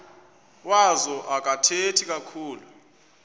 wazo akathethi kakhulu